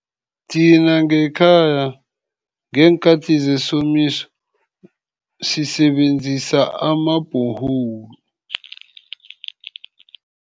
Thina ngekhaya, ngeenkhathi zesomiso sisebenzisa ama-borehole.